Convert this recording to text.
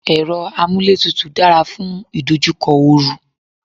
Èrọ amúlétutù dára fún ìdojúkọ oru.